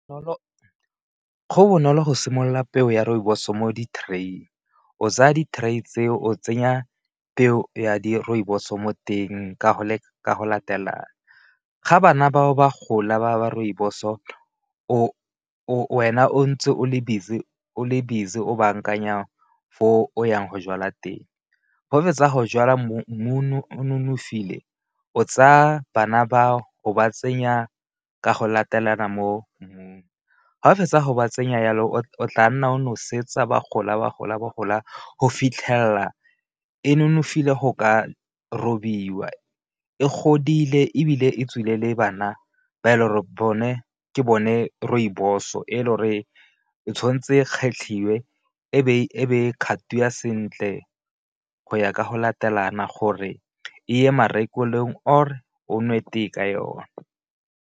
Go bonolo go simolola peo ya rooibos mo di-tray-ing o tsaya di-tray tseo o tsenya peo ya di-rooibos-o mo teng ka go latelana, ga bana bao ba gola ba rooibos-o o wena o ntse o le busy o bankanya fo o yang go jwala teng, ga fetsa go jala mmu o nonofile o tsaya bana bao o ba tsenya ka go latelana mo mmung, ga o fetsa go ba tsenya yalo o tla nna o nosetsa ba gola ba gola ba gola go fitlhelela e nonofile go ka robiwa, e godile ebile e tswile le bana ba e le gore bone ke bone rooibos-o e le gore tshwantse kgetlhiwe e be e kgathiwa sentle go ya ka go latelana gore e ye marekelong or o nwe tee ka yone.